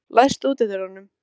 Eldþóra, hvenær kemur nían?